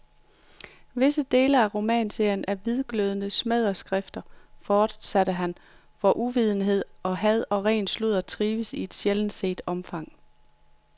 Visse dele af romanserien er hvidglødende smædeskrifter, fortsatte han, hvor uvidenhed, had og ren sludder trives i et sjældent set omfang.